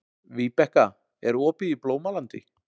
Víbekka, er opið í Blómalandi?